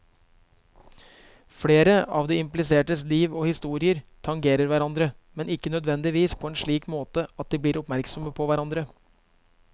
Flere av de implisertes liv og historier tangerer hverandre, men ikke nødvendigvis på en slik måte at de blir oppmerksomme på hverandre.